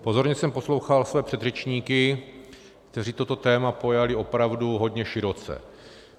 Pozorně jsem poslouchal své předřečníky, kteří toto téma pojali opravdu hodně široce.